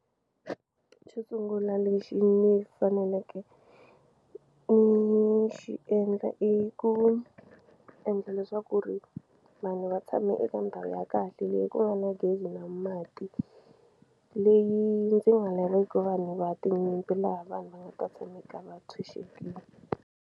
Xo sungula lexi ni faneleke ni xi endla i ku endla leswaku ri vanhu va tshame eka ndhawu ya kahle leyi ku nga na gezi na mati leyi ndzi nga laveki vanhu va tinyimpi laha vanhu va nga ta tshame karhi va tshunxekile.